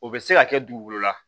O bɛ se ka kɛ dugukolo la